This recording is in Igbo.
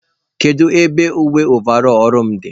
Kedu ebe uwe ovarọl ọrụ m dị?